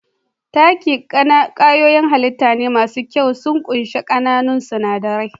Takin kwayoyin hallita shine mafi kyau, sun ƙunshi ƙananan sinadarai.